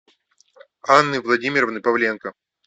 анны владимировны павленко